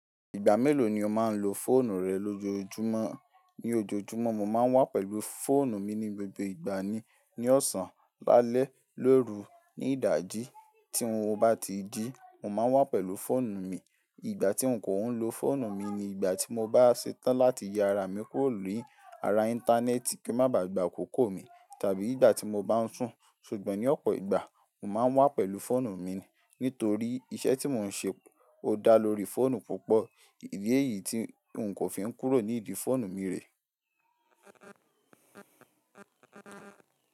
Ìgbà mélòó ni o máa n lo fóònù rẹ lójoojúmọ́? Ni ojoojúmọ́, mo máa n wà pẹ̀lú fóònù mi ní gbogbo ìgbà ni, ní ọ̀sán, lálẹ́, lóru, ní ìdájí. Tí n ò bá tíì jí, mo máa n wà pẹ̀lú fóònù mi. Ìgbà tí n kò ń lo fóònù mi ni ìgbà tí mo bá ṣetán láti ya ara mi kúrò ní ara íńtánẹ́ẹ̀tì kí ń má bàà gbà àkókó mi, tàbí ìgbà tí mo bá ń sùn. Ṣùgbọ́n ní ọ̀pọ̀ ìgbà, mo máa n wà pẹ̀lú fóònù mi, nítorí iṣẹ́ tí mo ń ṣe ò dá lórí fóònù púpọ̀. Iyé yìí tí n kò fi ń kúrò ní ìdí fóònù mi rèé.